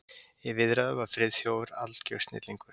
Í viðræðu var Friðþjófur algjör snillingur.